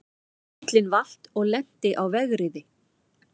Bíllinn valt og lenti á vegriði